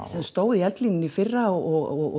sem stóð í eldlínunni í fyrra og